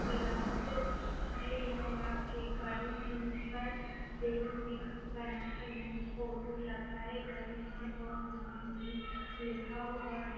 लाख यही है लाख के दिल में एक बनाकर हैं फोटो लगाए गए हैं और नाम भी लिखा हुआ है।